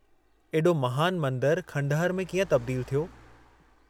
एॾो महानु मंदरु खंडहर में कीअं तब्दील थियो?